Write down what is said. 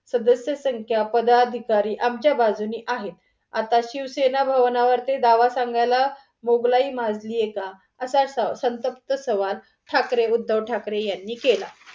सदस्य संख्या, पद अधिकारी आमच्या बाजूने आहेत. आता शिवसेना भवनावरती दावा सांगायला मोघलाई माजलीए का? असा सं संतप्त सवाल ठाकरे उद्धव ठाकरे यांनी केला.